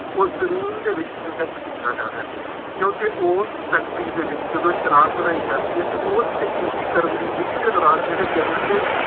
ਉਸ ਜ਼ਮੀਨ ਦੇ ਵਿੱਚ inject ਕੀਤਾ ਜਾ ਰਿਹਾ, ਕਿਉਂਕਿ ਉਸ ਫੈਕਟਰੀ ਦੇ ਵਿੱਚ ਜਦੋਂ ਸ਼ਰਾਬ ਬਣਾਈ ਜਾਂਦੀ ਹੈ ਅਤੇ ਉਸ ਕਸੀਦੀਕਰਨ ਦੀ ਵਿਧੀ ਦੇ ਦੌਰਾਨ ਜਿਹੜੇ ਜ਼ਹਿਰੀਲੇ